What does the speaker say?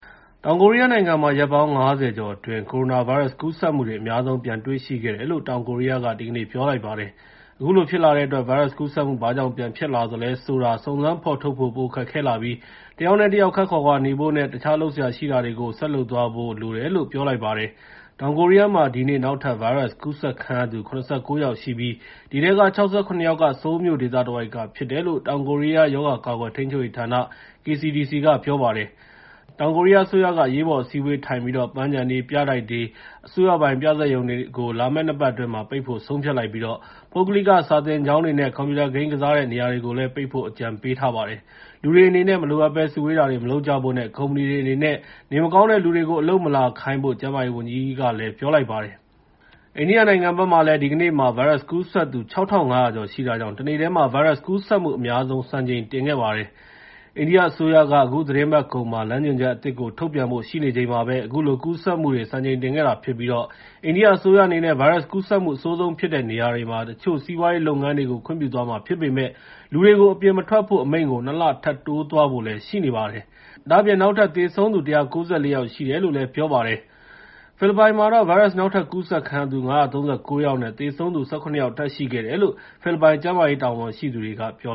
တောင်ကိုရီးယားနိုင်ငံမှာ ရက်ပေါင်း ၅၀ ကျော်အတွင်း ကိုရိုနာဗိုင်းရပ်စ်ကူးစက်မှုတွေ အများဆုံးပြန်တွေ့ရှိခဲ့တယ်လို့ တောင်ကိုရီးယားက ဒီကနေ့ ပြောလိုက်ပါတယ်။ အခုလိုဖြစ်လာတဲ့အတွက် ဗိုင်းရပ်စ်ကူးစက်မှု ဘာကြောင့်ပြန်ဖြစ်လာသလဲဆိုတာ စုံစမ်းဖော်ထုတ်ဖို့ ပိုခက်ခဲလာပြီး တစ်ယောက်နဲ့ တစ်ယောက် ခပ်ခွာခွာနေဖို့ နဲ့ တခြားလုပ်စရာရှိတာတွေကို လုပ်သွားဖို့လိုတယ်လို့ ပြောလိုက်ပါတယ်။ တောင်ကိုရီးယားမှာ ဒီနေ့ နောက်ထပ်ဗိုင်းရပ်စ်ကူးစက်ခံရသူ ၇၉ ယောက်ရှိပြီး အဲဒီထဲက ၆၇ ယောက်က ဆိုးလ်မြို့ဒေသတဝိုက်က ဖြစ်တယ်လို့ တောင်ကိုရီးယားရဲ့ ရောဂါကာကွယ်ထိန်းချုပ်ရေးဌာန (KCDC) က ပြောပါတယ်။ တောင်ကိုရီးယားအစိုးရ အရေးပေါ် အစည်းအဝေးထိုင်ပြီး ပန်းခြံတွေ၊ ပြတိုက်တွေ၊ အစိုးရပိုင် ပြဇာတ်ရုံတွေကို လာမယ့် နှစ်ပတ်အတွင်း ပိတ်ဖို့ ဆုံးဖြတ်လိုက်သလို ပုဂ္ဂလိကစာသင်ကျောင်းတွေနဲ့ ကွန်ပျူတာ ဂိမ်းကစားတဲ့နေရာတွေကို ပိတ်ဖို့လည်း အကြံပြုထားပါတယ်။ လူတွေအနေနဲ့ မလိုအပ်ဘဲ စုဝေးတာတွေမလုပ်ကြဖို့ နဲ့ ကုမ္ပဏီတွေအနေနဲ့ နေမကောင်းတဲ့လူတွေကို အလုပ်မလာခိုင်းဖို့ ကျန်းမာရေးဝန်ကြီးက ပြောလိုက်ပါတယ်။ အိန္ဒိယနိုင်ငံဘက်မှာလည်း ဒီကနေ့မှာ ဗိုင်းရပ်စ်ကူးစက်သူ ၆,၅၀၀ ကျော်ရှိတာကြောင့် တနေ့ထဲမှာ ဗိုင်းရပ်စ်ကူးစက်မှု အများဆုံး စံချိန်တင်ခဲ့ပါတယ်။ အိန္ဒိယအစိုးရက အခုသီတင်းပတ်ကုန်မှာ လမ်းညွှန်ချက်အသစ်ကို ထုတ်ပြန်ဖို့ရှိနေချိန်မှာ အခုလိုကူးစက်မှုတွေ စံချိန်တင်ခဲ့တာဖြစ်ပြီး အိန္ဒိယအစိုးရအနေနဲ့ ဗိုင်းရပ်စ်ကူးစက်မှု အဆိုးဆုံးဖြစ်နေတဲ့နေရာတွေမှာ တချို့စီးပွားရေးလုပ်ငန်းတွေကို ခွင့်ပြုသွားမှာဖြစ်ပေမယ့် လူတွေကို အပြင်မထွက်ဖို့ အမိန့်ကို နှစ် လ ထပ်တိုးသွားဖွယ်ရှိနေပါတယ်။ ဒါ့အပြင် နောက်ထပ် သေဆုံးသူ ၁၉၄ ယောက်ရှိတယ်လို့လည်း ပြောပါတယ်။ ဖိလစ်ပိုင်မှာတော့ ဗိုင်းရပ်စ် နောက်ထပ်ကူးစက်ခံရသူ ၅၃၉ ယောက်နဲ့ သေဆုံးသူ ၁၇ ယောက် ထပ်ရှိခဲ့တယ်လို့ ဖိလစ်ပိုင် ကျန်းမာရေးတာဝန်ရှိသူတွေက ပြော